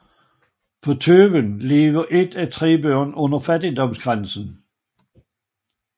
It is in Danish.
På Tøyen lever et af tre børn under fattigdomsgrænsen